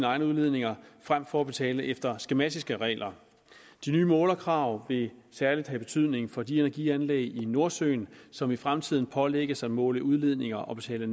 egne udledninger frem for at betale efter skematiske regler de nye målerkrav vil særlig have betydning for de energianlæg i nordsøen som i fremtiden pålægges at måle udledninger og betale